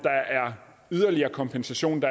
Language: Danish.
yderligere kompensation